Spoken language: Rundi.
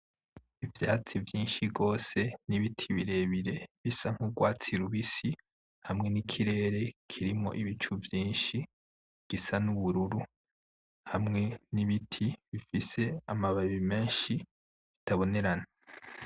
Ivyatsi vyinshi gose n'Ibiti birebire bisa nkugwatsi rubisi, hamwe n'Ikirere kirimwo Ibicu vyinshi gisa n'ubururu hamwe n'Ibiti bifise amababi menshi atabonerana.